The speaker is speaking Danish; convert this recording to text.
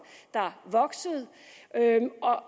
der voksede